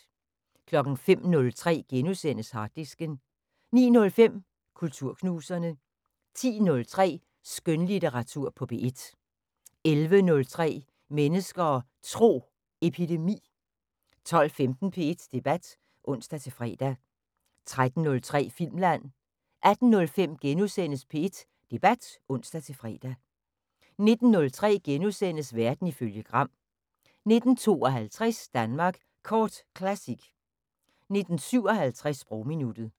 05:03: Harddisken * 09:05: Kulturknuserne 10:03: Skønlitteratur på P1 11:03: Mennesker og Tro: Epidemi 12:15: P1 Debat (ons-fre) 13:03: Filmland 18:05: P1 Debat *(ons-fre) 19:03: Verden ifølge Gram * 19:52: Danmark Kort Classic 19:57: Sprogminuttet